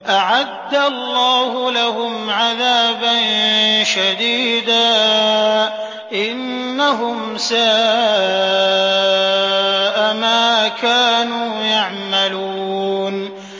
أَعَدَّ اللَّهُ لَهُمْ عَذَابًا شَدِيدًا ۖ إِنَّهُمْ سَاءَ مَا كَانُوا يَعْمَلُونَ